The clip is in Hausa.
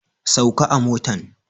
Sauka a motan.